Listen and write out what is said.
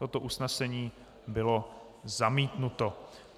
Toto usnesení bylo zamítnuto.